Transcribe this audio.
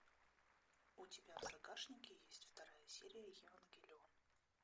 у тебя в загашнике есть вторая серия евангелион